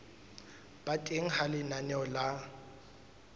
ba teng ha lenaneo la